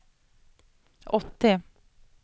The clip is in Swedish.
åttio